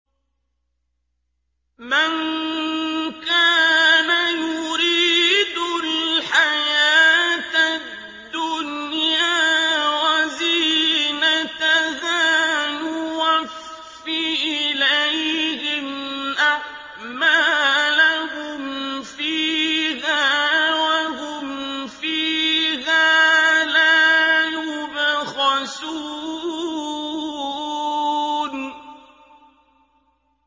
مَن كَانَ يُرِيدُ الْحَيَاةَ الدُّنْيَا وَزِينَتَهَا نُوَفِّ إِلَيْهِمْ أَعْمَالَهُمْ فِيهَا وَهُمْ فِيهَا لَا يُبْخَسُونَ